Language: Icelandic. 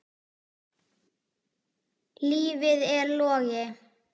Lífið er logi.